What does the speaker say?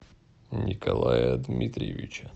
николая дмитриевича